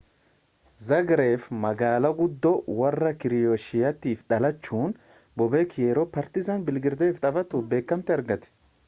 zaagreb magaalaa guddoo warra kirooshiyaatti dhalachun boobeek yeroo paartiizan biilgireediif taphatu beekamtii argate